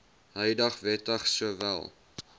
huidige wetgewing sowel